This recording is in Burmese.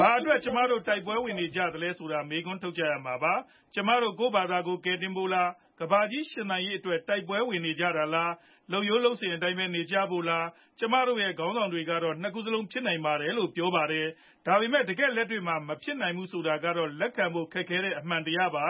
ဘာအတွက် ကျမတို့ တိုက်ပွဲဝင်နေသလဲဆိုတာ မေးခွန်းထုတ်ကြရမှာပါ။ ကျမတို့ ကိုယ့်ဖာသာ ကယ်တင်ဖို့လား၊ ကမ္ဘာကြီး ရှင်သန်ရေးအတွက် တိုက်ပွဲဝင်နေကြတာလား၊ လုပ်ရိုးလုပ်စဉ်အတိုင်းပဲ နေကြဖို့လား။ ကျမတို့ရဲ့ ခေါင်းဆောင်တွေကတော့ ၂ ခုစလုံး ဖြစ်နိုင်ပါတယ်လို့ ပြောကြပါတယ်။ ဒါပေမဲ့ တကယ့်လက်တွေ့မှာ မဖြစ်နိုင်ဘူးဆိုတာကတော့ လက်ခံဖို့ခက်တဲ့ အမှန်တရားပါ